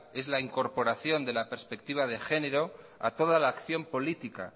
es la incorporación de la perspectiva de género a toda la acción política